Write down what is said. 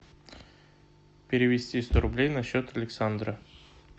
перевести сто рублей на счет александра